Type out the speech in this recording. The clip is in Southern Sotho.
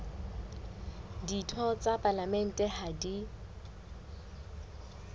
ditho tsa palamente ha di